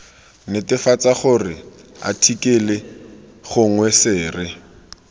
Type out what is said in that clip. netefatsa gore athikele gongwe sere